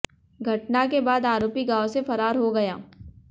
घटना के बाद आरोपी गांव से फरार हो गया